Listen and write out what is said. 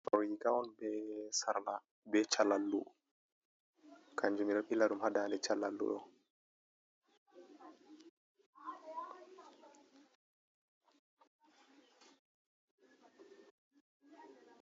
Ɗo riga on be sarla, be calallu. Kanjum ɓe ɗo ɓila ɗum ha dande calallu ɗo.